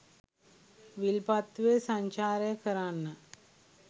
විල්පත්තුවේ සංචාරය කරන්න